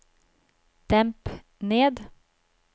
demp ned